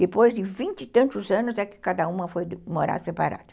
Depois de vinte e tantos anos é que cada uma foi morar separada.